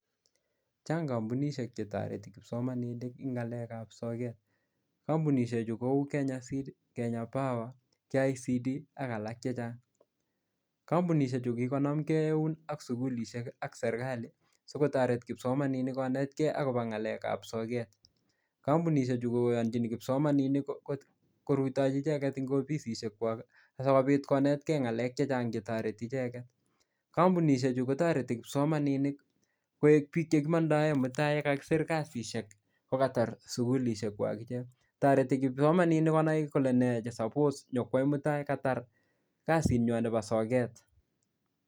Chang kambunishek chetareti kipsomaninik en ngalek ab sogek kambunishek chuton Kou Kenya seed, Kenya power akalak chechang kambunishek Chu kokikonam gei oun ak sugulishek ak serikalit sikotaret kipsomaninik konet gei akobo ngalek ab sogek kambunishek Chu koyanjin kipsomaninik korutachi icheken en ifisisishek kwakbakobit konet gei ngalech chechang chetareti gei mising kambunishek chuton kotareti kipsomaninik koek bik chekimandar Mutai ak chekakisir kasishek akotar sugulishek chwak akotareti kipsomaninik Kole nee chesapos Kwai Mutai Katar kasinywan Nebo soket.